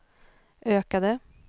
ökade